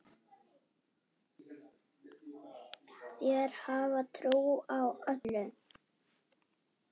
Þeir hafa trú á öllu.